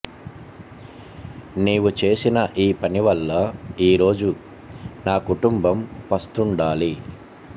నీవు చేసిన ఈ పనివల్ల ఈ రోజు నా కుటుంబం పస్తుండాలి